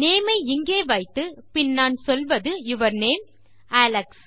name ஐ இங்கே வைத்து பின் நான் சொல்வது யூர் நேம் அலெக்ஸ்